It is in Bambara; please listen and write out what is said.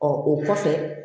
Ɔ o kɔfɛ